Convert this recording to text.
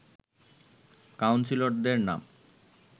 কাউন্সিলরদের নাম